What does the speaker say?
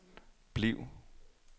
bliv